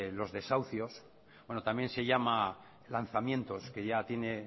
los desahucios bueno también se llama lanzamientos que ya tiene